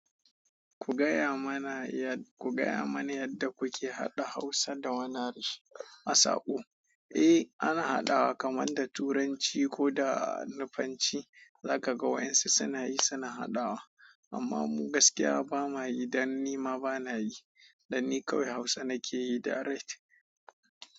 Ku gaya mana yadda kuke haɗa Hausa da wani harshe a sako. Eh, ana haɗawa kamar da Turanci ko da Nufanci. Laka ga wa'yansu suna yi, suna haɗawa. Amma mu gaskiya ba ma yi dan nima bana yi dan ni kawai Hausa nake yi direct.